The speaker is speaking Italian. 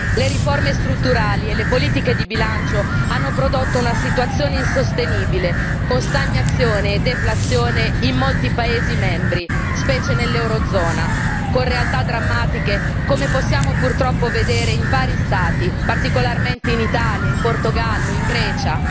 Le riforme strutturali e le politiche di bilancio hanno prodotto una situazione insostenibile, con stagnazione e deflazione in molti Paesi membri, specie nella zona euro, con realtà drammatiche, come possiamo purtroppo vedere in vari Stati, particolarmente in Italia, in Portogallo, in Grecia.